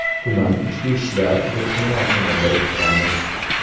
Tuman ichki ishlar ruhshunosini biriktiramiz.